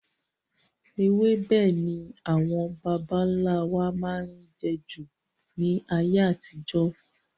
Ewébẹ̀ ni àwọn bàbá nlá wa máa n jẹ jù ní ayé àtijó